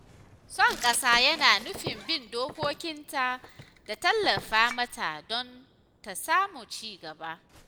Son ƙasa yana nufin bin dokokinnta da tallafa mata don ta samu cigaba.